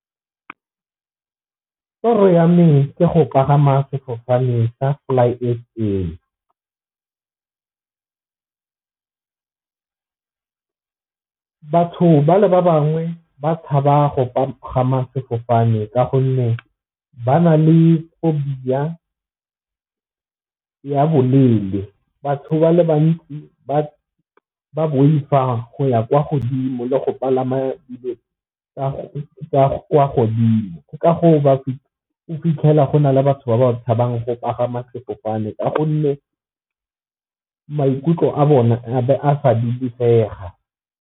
Toro ya me ke go pagama sefofane sa Fly S_A batho ba le ba bangwe ba tshaba go pagama sefofane ka gonne ba na le phobia ya bolelele, batho ba le bantsi ba boifa go ya kwa godimo le go palama godimo ka gore o fitlhela gona le batho ba ba tshabang go pagama sefofane ka gonne maikutlo a sa dulesega.